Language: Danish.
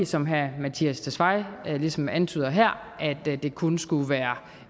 som herre mattias tesfaye ligesom antyder her at det kun skulle være